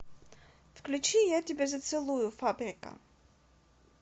включи я тебя зацелую фабрика